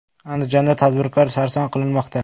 Andijonda tadbirkor sarson qilinmoqda.